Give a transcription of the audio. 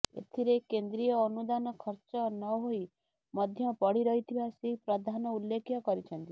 ଏଥିରେ କେନ୍ଦ୍ରୀୟ ଅନୁଦାନ ଖର୍ଚ୍ଚ ନହୋଇ ମଧ୍ୟ ପଡିରହିଥିବା ଶ୍ରୀ ପ୍ରଧାନ ଉଲ୍ଲେଖ କରିଛନ୍ତି